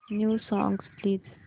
new songs please